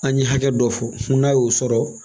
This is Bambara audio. An ye hakɛ dɔ fɔ n'a y'o sɔrɔ